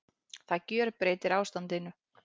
Það gjörbreytir ástandinu